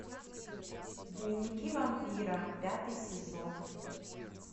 дневники вампира пятый сезон